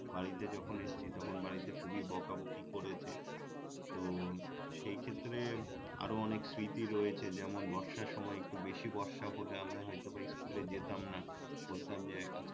বাড়িতে যখন এসেছি তখন বাড়িতে খুবই বকাবকি করেছে তো সেই ক্ষেত্রে আরো অনেক স্মৃতি রয়েছে যেমন বর্ষার সময় একটু বেশি বর্ষা হলে আমরা হয়তো বা স্কুলে যেতাম না বলতাম যে